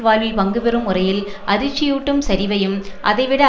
வாழ்வில் பங்குபெறும் முறையில் அதிர்ச்சியூட்டும் சரிவையும் அதைவிட